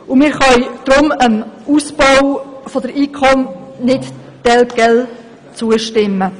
Wir können deshalb einem Ausbau des IKOM nicht telquel zustimmen.